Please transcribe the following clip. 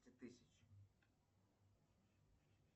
тысяч